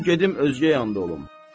Qoyun gedim özgə yanda olum.